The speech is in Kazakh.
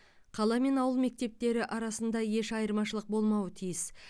қала мен ауыл мектептері арасында еш айырмашылық болмауы тиіс